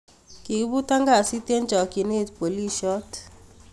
Kikiibutaan kasiit en chokyinet booliisyoot